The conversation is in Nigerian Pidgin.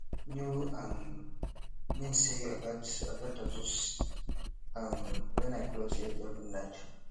new schedule um mean say i gats i gats adjust um when i close eye every night